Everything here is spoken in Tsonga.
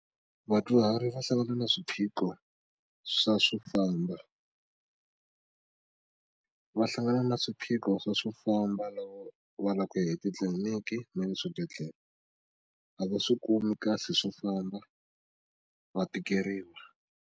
Vadyuhari va hlangana na swiphiqho swa swo famba va hlangana na swiphiqho swa swo famba loko va lava ku ya etitliliniki na le swibedhlele a va swi kumi kahle swo famba va tikeriwa.